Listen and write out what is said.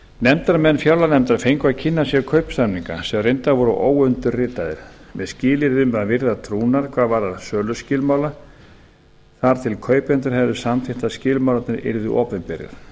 nefndarmenn fjárlaganefndar fengu að kynna sér kaupsamninga sem reyndar voru óundirritaðir með skilyrði um að virða trúnað hvað varðar söluskilmála þar til kaupendur hefðu samþykkt að skilmálarnir yrðu opinberir